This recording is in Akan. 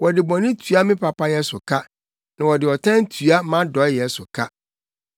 Wɔde bɔne tua me papayɛ so ka, na wɔde ɔtan tua mʼadɔeyɛ so ka.